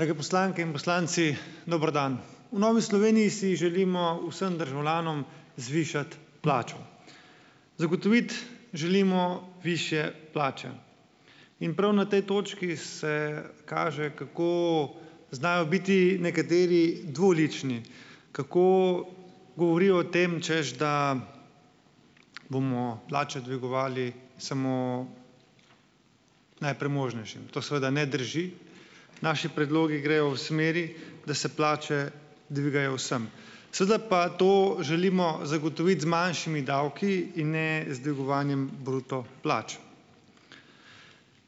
Drage poslanke in poslanci, dober dan. V Novi Sloveniji si želimo vsem državljanom zvišati plačo. Zagotoviti želimo višje plače in prav na tej točki se kaže, kako znajo biti nekateri dvolični, kako govorijo o tem, češ da bomo plače dvigovali samo najpremožnejšim. To seveda ne drži. Naši predlogi grejo v smeri, da se plače dvigajo vsem. Seveda pa to želimo zagotoviti z manjšimi davki in ne z dvigovanjem bruto plač.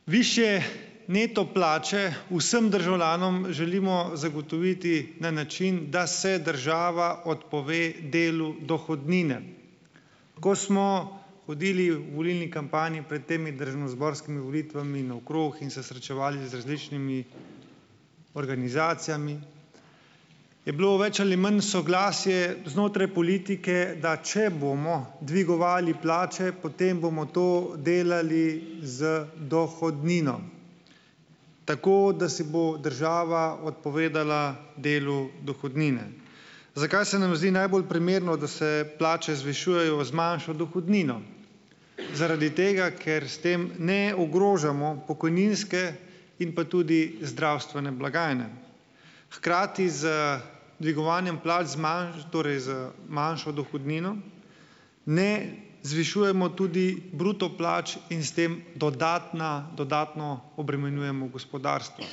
Višje neto plače vsem državljanom želimo zagotoviti na način, da se država odpove delu dohodnine. Ko smo hodili v volilni kampanji pred temi državnozborskimi volitvami naokrog in se srečevali z različnimi organizacijami, je bilo več ali manj soglasje znotraj politike, da če bomo dvigovali plače, potem bomo to delali z dohodnino, tako da si bo država odpovedala delu dohodnine. Zakaj se nam zdi najbolj primerno, da se plače zvišujejo z manjšo dohodnino? Zaradi tega, ker s tem ne ogrožamo pokojninske in pa tudi zdravstvene blagajne. Hkrati z dvigovanjem plač z torej z manjšo dohodnino ne zvišujemo tudi bruto plač in s tem dodatna, dodatno obremenjujemo gospodarstvo.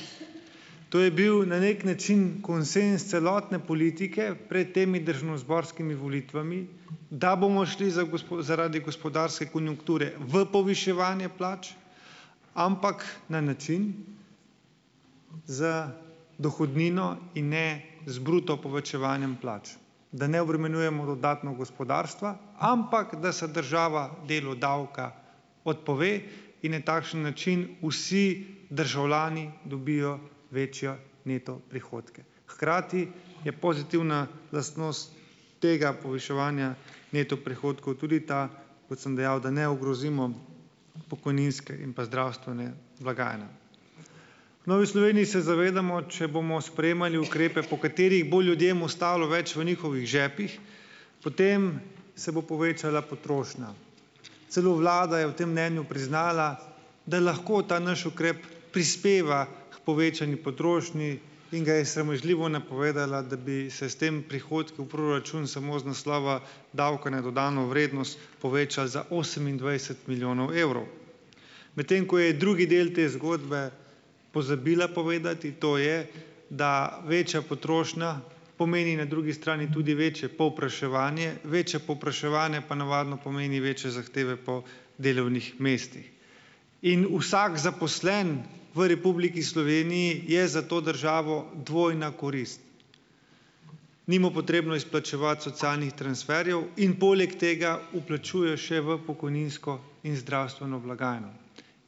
To je bil na neki način konsenz celotne politike pred temi državnozborskimi volitvami, da bomo šli za zaradi gospodarske konjunkture v poviševanje plač, ampak na način z dohodnino in ne z bruto povečevanjem plač, da ne obremenjujemo dodatno gospodarstva, ampak da se država delu davka odpove in ne takšen način vsi državljani dobijo večje neto prihodke. Hkrati je pozitivna lastnost tega poviševanja neto prihodkov tudi ta, kot sem dejal, da ne ogrozimo pokojninske in pa zdravstvene blagajne. V Novi Sloveniji se zavedamo, če bomo sprejemali ukrepe, po katerih bo ljudem ostalo več v njihovih žepih, potem se bo povečala potrošnja. Celo vlada je v tem mnenju priznala, da lahko ta naš ukrep prispeva k povečani potrošnji in ga je sramežljivo napovedala, da bi se s tem prihodki v proračun samo z naslova davka na dodano vrednost povečali za osemindvajset milijonov evrov. Medtem ko je drugi del te zgodbe pozabila povedati, to je, da večja potrošnja pomeni na drugi strani tudi večje povpraševanje, večje povpraševanje pa navadno pomeni večje zahteve po delovnih mestih. In vsak zaposleni v Republiki Sloveniji je za to državo dvojna korist. Ni mu potrebno izplačevati socialnih transferjev in poleg tega vplačuje še v pokojninsko in zdravstveno blagajno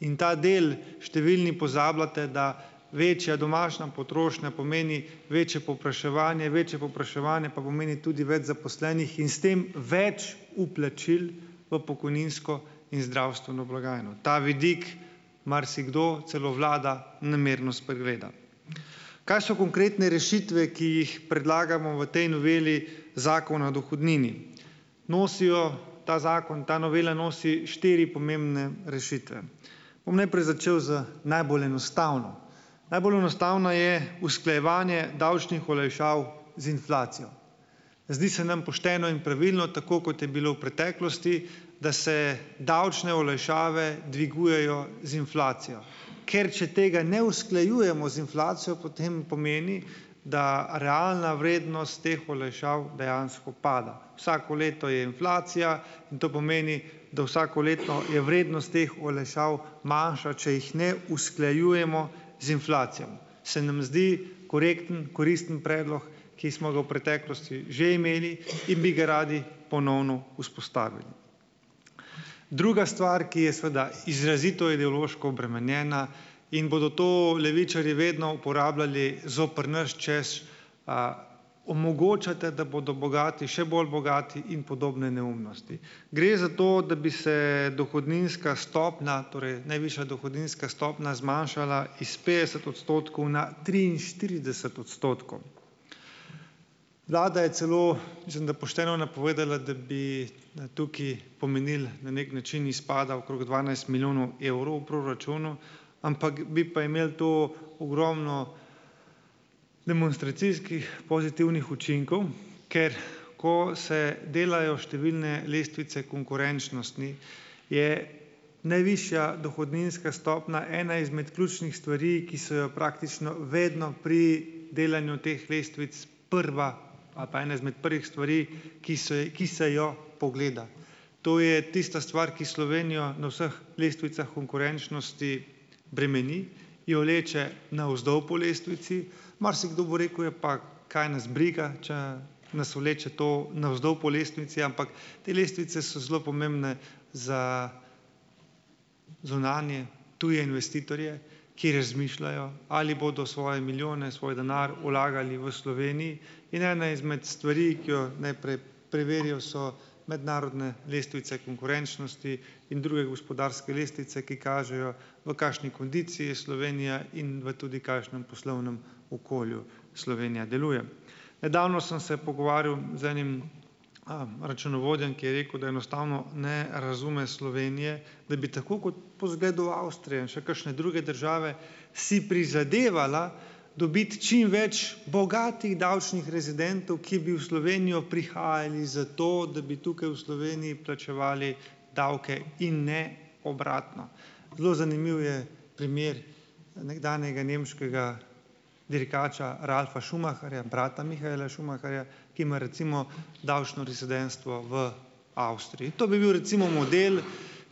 in ta del številni pozabljate, da večja domača potrošnja pomeni večje povpraševanje, večje povpraševanje pa pomeni tudi več zaposlenih in s tem več vplačil v pokojninsko in zdravstveno blagajno. Ta vidik marsikdo, celo vlada namerno spregleda. Kaj so konkretne rešitve, ki jih predlagamo v tej noveli Zakona dohodnini? Nosijo, ta zakon, ta novela nosi štiri pomembne rešitve, bom najprej začel z najbolj enostavno. Najbolj enostavna je usklajevanje davčnih olajšav z inflacijo. Zdi se nam pošteno in pravilno, tako kot je bilo v preteklosti, da se davčne olajšave dvigujejo z inflacijo, ker če tega ne usklajujemo z inflacijo, potem pomeni, da realna vrednost teh olajšav dejansko pada; vsako leto je inflacija in to pomeni, da vsakoletno je vrednost teh olajšav manjša, če jih ne usklajujemo z inflacijo. Se nam zdi korekten, koristen predlog, ki smo ga v preteklosti že imeli in bi ga radi ponovno vzpostavili. Druga stvar, ki je, seveda, izrazito ideološko obremenjena, in bodo to levičarji vedno uporabljali zoper nas, češ, omogočate, da bodo bogati še bolj bogati in podobne neumnosti. Gre za to, da bi se dohodninska stopnja, torej najvišja dohodninska stopnja zmanjšala iz petdeset odstotkov na triinštirideset odstotkov. Vlada je celo, mislim, da pošteno napovedala, da bi da tukaj, pomenil na neki način izpada okrog dvanajst milijonov evrov v proračunu, ampak bi pa imelo to ogromno demonstracijskih pozitivnih učinkov, ker ko se delajo številne lestvice konkurenčnosti, je najvišja dohodninska stopnja ena izmed ključnih stvari, ki so jo praktično vedno pri delanju teh lestvic, prva, a pa ena izmed prvih stvari, ki so ki se jo pogleda. To je tista stvar, ki Slovenijo na vseh lestvicah konkurenčnosti bremeni, jo vleče navzdol po lestvici. Marsikdo bo rekel, ja, pa kaj nas briga, če nas vleče to navzdol po lestvici, ampak te lestvice so zelo pomembne za zunanje, tuje investitorje, ki razmišljajo, ali bodo svoje milijone, svoj denar vlagali v Sloveniji. In ena izmed stvari, ki jo najprej preverijo, so mednarodne lestvice konkurenčnosti in druge gospodarske lestvice, ki kažejo, v kakšni kondiciji je Slovenija in v tudi kakšnem okolju poslovnem Slovenija deluje. Nedavno sem se pogovarjal z enim računovodjem, ko je rekel, da enostavno ne razume Slovenije, da bi tako kot, po zgledu Avstrije in še kakšne druge države si prizadevala dobiti čim več bogatih davčnih rezidentov, ki bi v Slovenijo prihajali zato, da bi tukaj v Sloveniji plačevali davke, in ne obratno. Zelo zanimiv je primer nekdanjega nemškega dirkača Ralfa Schumacherja, brata Mihaela Schumacherja, ki ima, recimo, davčno rezidentstvo v Avstriji. To bi bil, recimo, model,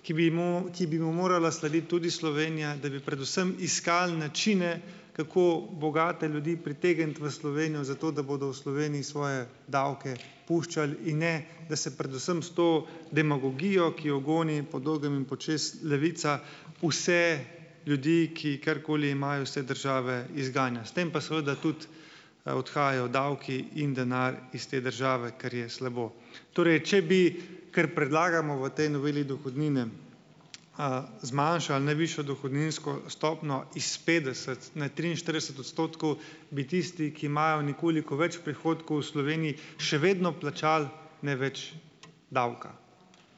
ki bi mu, ki bi mu morala slediti tudi Slovenija, da bi predvsem iskal načine, kako bogate ljudi pritegniti v Slovenijo, zato da bodo v Sloveniji svoje davke puščali, in ne da se predvsem s to demagogijo, ki jo goni po dolgem in počez Levica, vse ljudi, ki karkoli imajo, iz te države, izganja. S tem pa seveda tudi odhajajo davki in denar iz te države, kar je slabo. Torej, če bi, kar predlagamo v tej noveli dohodnine, zmanjšali najvišjo dohodninsko stopnjo iz petdeset na triinštirideset odstotkov, bi tisti, ki imajo nekoliko več prihodkov, v Sloveniji še vedno plačali največ davka.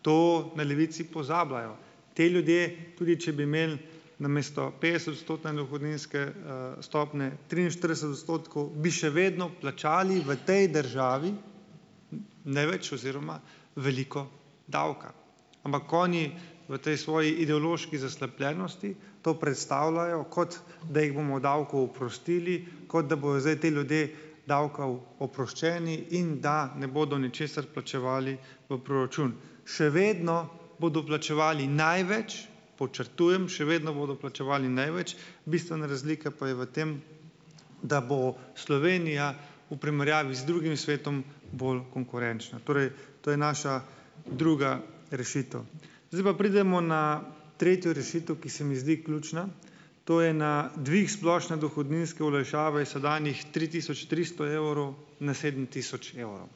To na Levici pozabljajo. Ti ljudje, tudi če bi imeli namesto petdesetodstotne dohodninske stopnje triinštirideset odstotkov, bi še vedno plačali v tej državi največ oziroma veliko davka. Ampak oni v tej svoji ideološki zaslepljenosti to predstavljajo, kot da jih bomo davkov oprostili, kot da bojo zdaj ti ljudje davkov oproščeni in da ne bodo ničesar plačevali v proračun. Še vedno bodo plačevali največ, podčrtujem, še vedno bodo plačevali največ, bistvena razlika pa je v tem, da bo Slovenija v primerjavi z drugim svetom bolj konkurenčna. Torej, to je naša druga rešitev. Zdaj pa pridemo na tretjo rešitev, ki se mi zdi ključna, to je na dvig splošne dohodninske olajšave iz sedanjih tri tisoč tristo evrov na sedem tisoč evrov.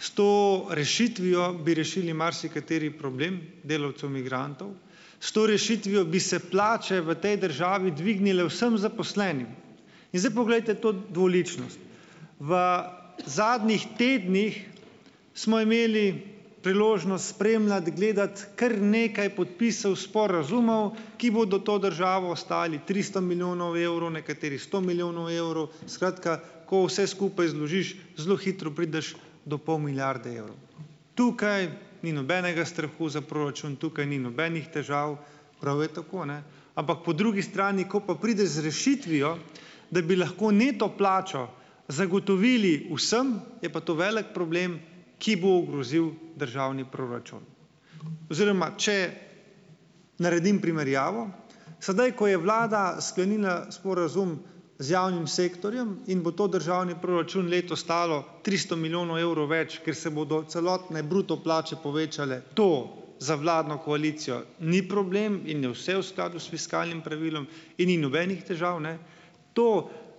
S to rešitvijo bi rešili marsikateri problem delavcev migrantov. S to rešitvijo bi se plače v tej državi dvignile vsem zaposlenim. In zdaj poglejte to dvoličnost! V zadnjih tednih smo imeli priložnost spremljati, gledati kar nekaj podpisov sporazumov, ki bodo to državo stali tristo milijonov evrov, nekateri sto milijonov evrov, skratka, ko vse skupaj zložiš, zelo hitro prideš do pol milijarde evrov. Tukaj ni nobenega strahu za proračun, tukaj ni nobenih težav, prav je tako, ne, ampak po drugi strani, ko pa prideš z rešitvijo, da bi lahko neto plačo zagotovili vsem, je pa to velik problem, ki bo ogrozil državni proračun. Oziroma, če naredim primerjavo sedaj, ko je vlada sklenila sporazum z javnim sektorjem in bo to državni proračun letos stalo tristo milijonov evrov več, ker se bodo celotne bruto plače povečale, to za vladno koalicijo ni problem in je vse v skladu s fiskalnim pravilom in ni nobenih težav, ne, to,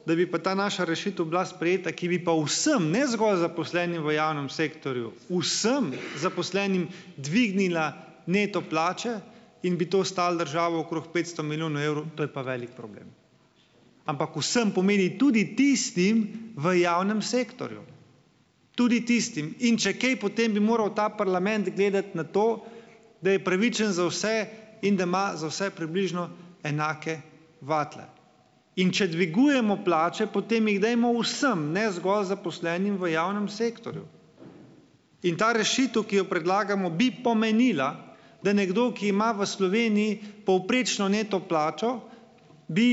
da bi pa ta naša rešitev bila sprejeta, ki bi pa vsem, ne zgolj zaposlenim v javnem sektorju, vsem zaposlenim dvignila neto plače in bi to stalo državo okrog petsto milijonov evrov, to je pa velik problem. Ampak vsem pomeni tudi tistim v javnem sektorju, tudi tistim in če kaj, potem bi moral ta parlament gledati na to, da je pravičen za vse in da ima za vse približno enake vatle. In če dvigujemo plače, potem jih dajmo vsem, ne zgolj zaposlenim v javnem sektorju, in ta rešitev, ki jo predlagamo, bi pomenila, da nekdo, ki ima v Sloveniji povprečno neto plačo, bi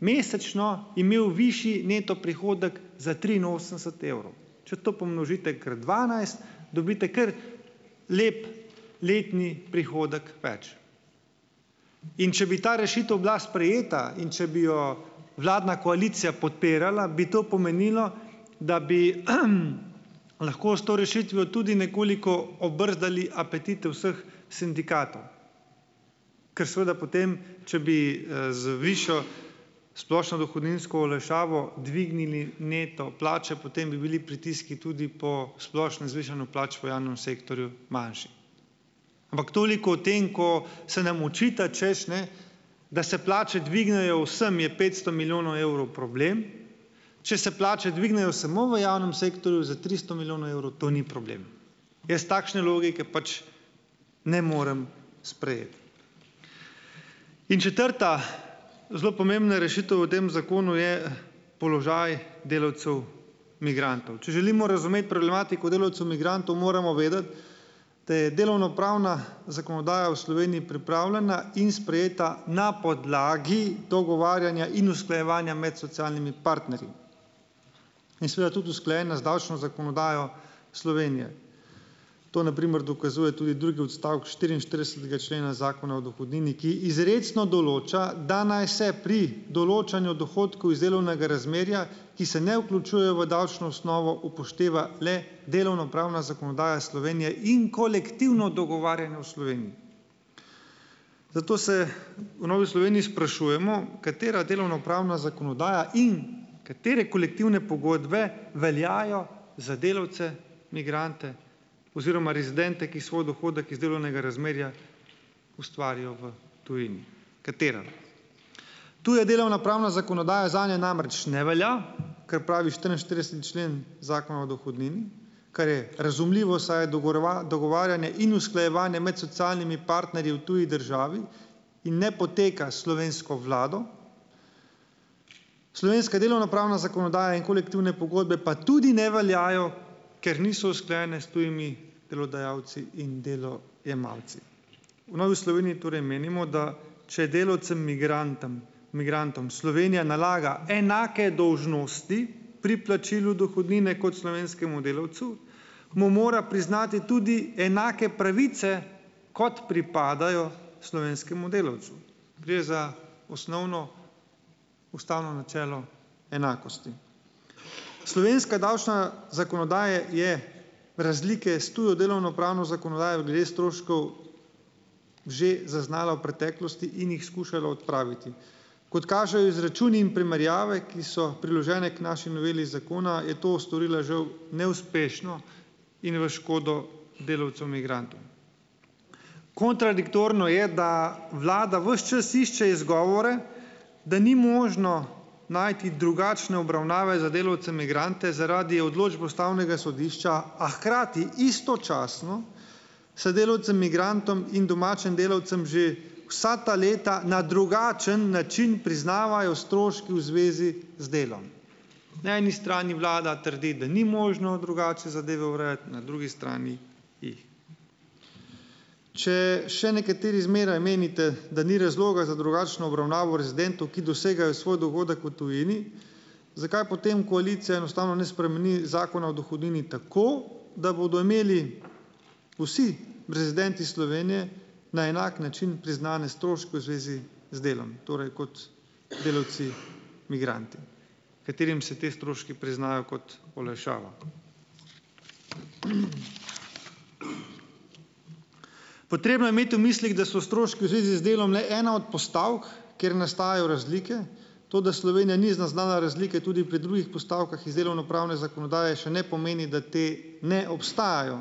mesečno imel višji neto prihodek za triinosemdeset evrov. Če to pomnožite krat dvanajst, dobite kar lep letni prihodek več. In če bi ta rešitev bila sprejeta in če bi jo vladna koalicija podpirala, bi to pomenilo, da bi lahko s to rešitvijo tudi nekoliko obrzdali apetite vseh sindikatov, kar seveda potem, če bi z višjo splošno dohodninsko olajšavo dvignili neto plače, potem bi bili pritiski tudi po splošnem zvišanju plač v javnem sektorju manjši. Ampak toliko o tem, ko se nam očita, hočeš, ne, da se plače dvignejo vsem, je petsto milijonov evrov problem, če se plače dvignejo samo v javnm sektorju za tristo milijonov evrov, to ni problem. Jaz takšne logike pač ne morem sprejeti. In četrta zelo pomembna rešitev v tem zakonu je položaj delavcev migrantov. Če želimo razumeti problematiko delavcev migrantov, moramo vedeti, da je delovnopravna zakonodaja v Sloveniji pripravljena in sprejeta na podlagi dogovarjanja in usklajevanja med socialnimi partnerji. In seveda tudi usklajena z davčno zakonodajo Slovenije, to na primer dokazuje tudi drugi odstavek štiriinštiridesetega člena Zakona o dohodnini, ki izrecno določa, da naj se pri določanju dohodkov iz delovnega razmerja, ki se ne vključujejo v davčno osnovo, upošteva le delovnopravna zakonodaja Slovenije in kolektivno dogovarjanje v Sloveniji. Zato se v Novi Sloveniji sprašujemo, katera delovnopravna zakonodaja in katere kolektivne pogodbe veljajo za delavce migrante oziroma rezidente, ki svoj dohodek iz delovnega razmerja ustvarjajo v tujini? Katera? Tu je delovnopravna zakonodaja zanje namreč ne velja, kar pravi štiriinštirideseti člen Zakona o dohodnini, kar je razumljivo, saj je dogovarjanje in usklajevanje med socialnimi partnerji v tuji državi in ne poteka s slovensko vlado. Slovenska delovnopravna zakonodaja in kolektivne pogodbe pa tudi ne veljajo, ker niso usklajene s tujimi delodajalci in delo- jemalci. V Novi Sloveniji torej menimo, da če delavcem migrantom, migrantom Slovenija nalaga enake dolžnosti pri plačilu dohodnine kot slovenskemu delavcu, mu mora priznati tudi enake pravice, kot pripadajo slovenskemu delavcu. Gre za osnovno ustavno načelo enakosti. Slovenska davčna zakonodaja je razlike s tujo delovnopravno zakonodajo glede stroškov že zaznala v preteklosti in jih skušala odpraviti. Kot kažejo izračuni in primerjave, ki so priložene k naši noveli zakona, je to storila žal neuspešno in v škodo delavcev migrantov. Kontradiktorno je, da vlada ves čas išče izgovore, da ni možno najti drugačne obravnave za delavce migrante zaradi odločbe Ustavnega sodišča, a hkrati istočasno se delavcem migrantom in domačim delavcem že vsa ta leta na drugačen način priznavajo stroški v zvezi z delom. Na eni strani Vlada trdi, da ni možno drugače zadeve urejati, na drugi strani jih. Če še nekateri zmeraj menite, da ni razloga za drugačno obravnavo rezidentov, ki dosegajo svoj dohodek v tujini, zakaj potem koalicija enostavno ne spremeni zakona o dohodnini tako, da bodo imeli vsi rezidenti Slovenije na enak način priznane stroške v zvezi z delom. Torej, kot delavci migranti, katerim se ti stroški priznajo kot olajšava. Potrebno je imeti v mislih, da so stroški v zvezi z delom le ena od postavk, kjer nastajajo razlike, toda Slovenija ni zaznala razlike tudi pri drugih postavkah iz delovnopravne zakonodaje, še ne pomeni, da te ne obstajajo.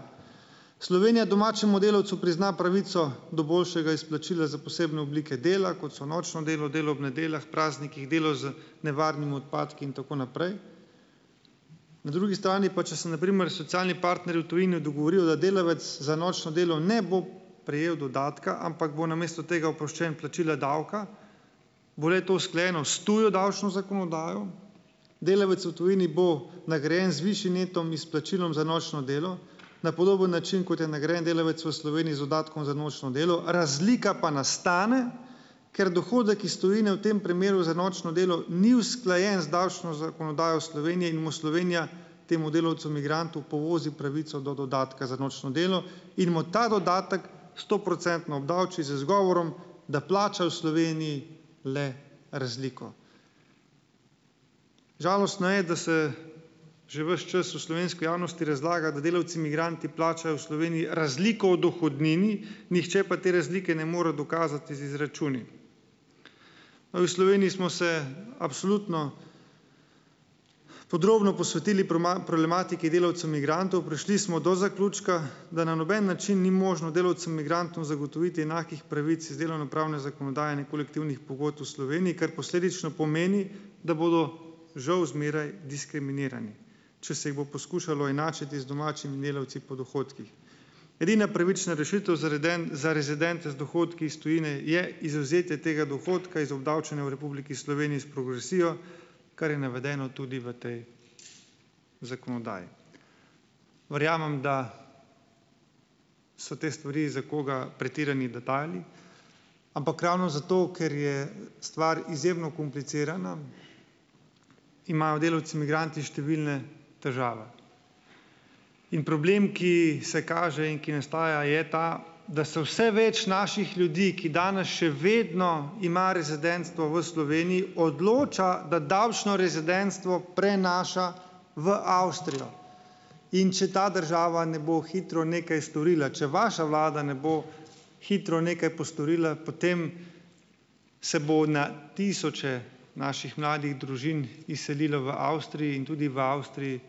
Slovenija domačemu delavcu prizna pravico do boljšega izplačila za posebne oblike dela, kot so nočno delo, delo ob nedeljah, praznikih, delo z nevarnimi odpadki in tako naprej. Na drugi strani pa, če se na primer socialni partnerji v tujini dogovorijo, da delavec za nočno delo ne bo prejel dodatka, ampak bo namesto tega oproščen plačila davka, bo le-to sklenil s tujo davčno zakonodajo, delavec v tujini bo nagrajen z višjim netom izplačilom za nočno delo, na podoben način, kot je nagrajen delavec v Sloveniji z dodatkom za nočno delo. Razlika pa nastane, ker dohodek iz tujine v tem primeru za nočno delo ni usklajen z davčno zakonodajo v Sloveniji, in mu Slovenija temu delavcu migrantu povozi pravico do dodatka za nočno delo in mu ta dodatek stoprocentno obdavči z izgovorom, da plača v Sloveniji le razliko. Žalostno je, da se že ves čas v slovenski javnosti razlaga, da delvci migranti plačajo v Sloveniji razliko v dohodnini, nihče pa te razlike ne more dokazati z izračuni. Novi Sloveniji smo se absolutno podrobno posvetili problematiki delavcev migrantov. Prišli smo do zaključka, da na noben način ni možno delavcem migrantom zagotoviti enakih pravic iz delovnopravne zakonodaje in kolektivnih pogodb v Sloveniji, kar posledično pomeni, da bodo žal zmeraj diskriminirani, če se jih bo poskušalo enačiti z domačimi delavci po dohodkih. Edina pravična rešitev za reden, za rezidente z dohodki s tujine je izvzetje tega dohodka iz obdavčenja v Republiki Sloveniji s progresijo, kar je navedeno tudi v tej zakonodaji. Verjamem, da so te stvari za koga pretirani detajli, ampak ravno zato, ker je stvar izjemno komplicirana, imajo delavci migranti številne težave. In problem, ki se kaže in ki nastajajo, je ta, da se vse več naših ljudi, ki danes še vedno ima rezidentstvo v Sloveniji, odloča, da davčno rezidentstvo prenaša v Avstrijo. In če ta država ne bo hitro nekaj storila, če vaša vlada ne bo hitro nekaj postorila, potem se bo na tisoče naših mladih družin izselilo v Avstriji in tudi v Avstriji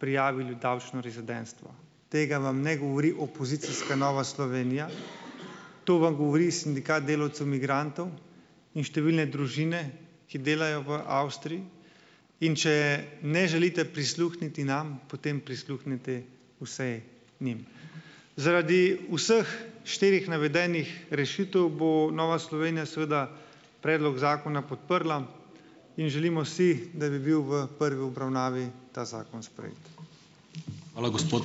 prijavili davčno rezidentstvo. Tega vam ne govori opozicijska Nova Slovenija, to vam govori sindikat delavcev migrantov in številne družine, ki delajo v Avstriji. In če ne želite prisluhniti nam, potem prisluhnite vsaj njim. Zaradi vseh štirih navedenih rešitev bo Nova Slovenija seveda predlog zakona podprla in želimo si, da bi bil v prvi obravnavi ta zakon sprejet.